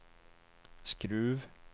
Skruv